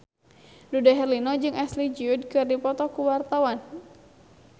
Dude Herlino jeung Ashley Judd keur dipoto ku wartawan